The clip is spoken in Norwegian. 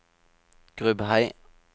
Grubhei